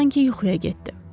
Hava sanki yuxuya getdi.